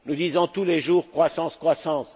Nous disons tous les jours Croissance, croissance!